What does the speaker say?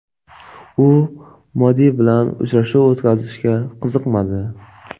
U Modi bilan uchrashuv o‘tkazishga qiziqmadi.